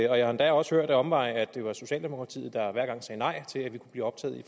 jeg har endda også hørt ad omveje at det var socialdemokratiet der hver gang sagde nej til at vi kunne blive optaget i